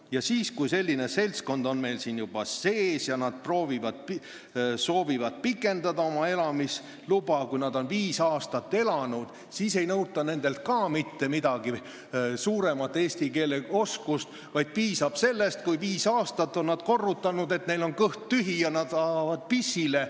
Ja ka siis, kui selline seltskond on juba siin ja nad soovivad pikendada oma elamisluba, pärast seda, kui nad on viis aastat siin elanud, ei nõuta nendelt paremat eesti keele oskust, vaid piisab sellest, kui nad on viis aastat korrutanud, et neil on kõht tühi ja nad tahavad pissile.